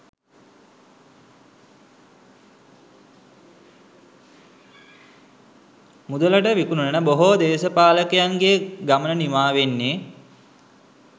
මුදලට විකුණුන බොහෝ දේශපාලකයන්ගේ ගමන නිමාවෙන්නේ